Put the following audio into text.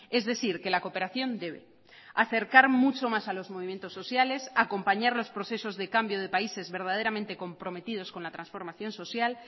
es decir que la cooperación debe acercar mucho más a los movimientos sociales acompañar los procesos de cambio de países verdaderamente comprometidos con la transformación social